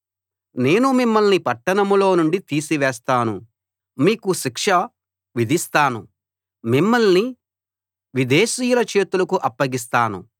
నేను మిమ్మల్ని పట్టణంలో నుండి తీసివేస్తాను మీకు శిక్ష విధిస్తాను మిమ్మల్ని విదేశీయుల చేతులకు అప్పగిస్తాను